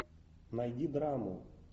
найди драму